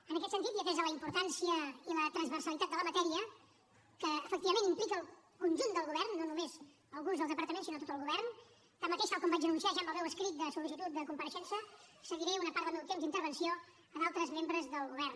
en aquest sentit i atesa la importància i la transversalitat de la matèria que efectivament implica el conjunt del govern no només alguns dels departaments sinó tot el govern tanmateix tal com vaig anunciar ja en el meu escrit de sol·licitud de compareixença cediré un temps d’intervenció a altres membres del govern